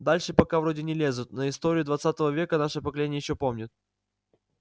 дальше пока вроде не лезут но историю двадцатого века наше поколение ещё помнит